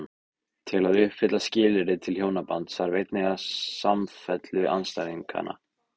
Til að uppfylla skilyrði til hjónabands þarf einnig samfellu andstæðnanna.